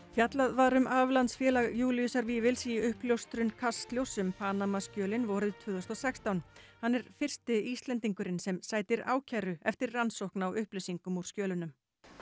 fjallað var um aflandsfélag Júlíusar Vífils í uppljóstrun Kastljóss um Panamaskjölin vorið tvö þúsund og sextán hann er fyrsti Íslendingurinn sem sætir ákæru eftir rannsókn á upplýsingum úr skjölunum